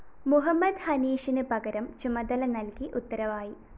മുഹമ്മദ് ഹനീഷിന് പകരം ചുമതല നല്‍കി ഉത്തരവായി